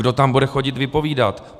Kdo tam bude chodit vypovídat?